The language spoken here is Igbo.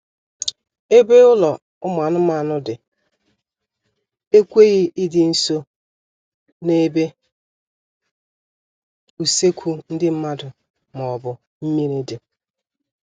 Ebe ụlọ ụmụ anụmanụ dị ekweghị ịdị nso n'ebe usekwu ndị mmadụ maọbụ mmiri dị